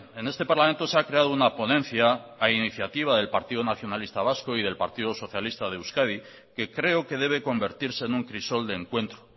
en este parlamento se ha creado una ponencia a iniciativa del partido nacionalista vasco y del partido socialista de euskadi que creo que debe convertirse en un crisol de encuentro